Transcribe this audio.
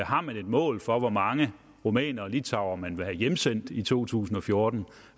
har man et mål for hvor mange rumænere og litauere man vil have hjemsendt i 2014